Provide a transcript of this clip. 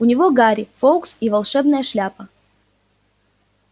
у него гарри фоукс и волшебная шляпа